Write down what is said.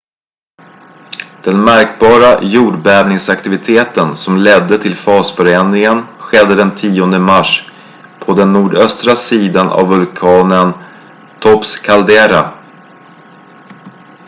den märkbara jordbävningsaktiviteten som ledde till fasförändringen skedde den 10 mars på den nordöstra sidan av vulkanens topps kaldera